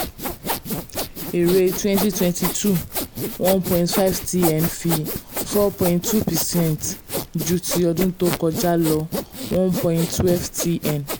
èrè twenty twenty two 1one point five tn fi four point two percent ju ti ọdúñ tó kọjá lọ one point twelve tn